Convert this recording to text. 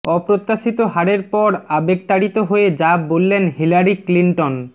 অপ্রত্যাশিত হারের পর আবেগতাড়িত হয়ে যা বললেন হিলারি ক্লিন্টন